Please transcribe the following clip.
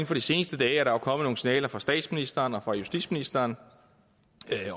for de seneste dage er der jo kommet nogle signaler fra statsministeren og justitsministeren